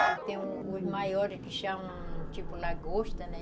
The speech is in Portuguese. tem os maiores que chamam, tipo lagosta, né?